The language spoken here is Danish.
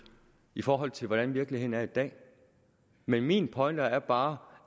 i forhold til hvordan virkeligheden er i dag men min pointe er bare